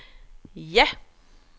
ja